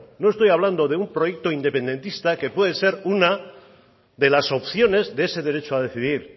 no estoy hablando de un proyecto independentista que puede ser una de las opciones de ese derecho a decidir